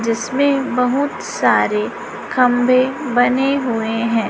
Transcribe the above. जिसमें बहुत सारे खंबे बने हुए हैं।